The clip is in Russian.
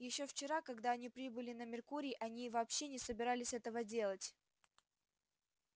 ещё вчера когда они прибыли на меркурий они вообще не собирались этого делать